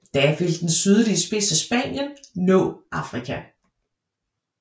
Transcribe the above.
Da vil den sydlige spids af Spanien nå Afrika